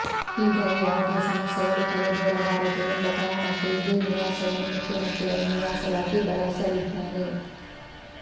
ಹೀಗಾಗಿ ಯಾವುದೇ ಸಮಸ್ಯೆಗಳು ತಲೆದೋರಬಾರದು ಎಂಬ ಕಾರಣಕ್ಕೆ ಇದೇ ನಿವಾಸವನ್ನು ಮುಖ್ಯಮಂತ್ರಿಗಳ ನಿವಾಸವಾಗಿ ಬಳಸಲಿದ್ದಾರೆ